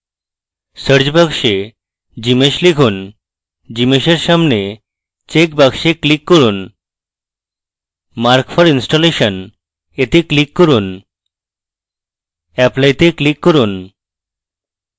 search box gmsh লিখুন এবং gmsh in সামনে checkbox click করুন mark for installation এ click করুন apply তে click করুন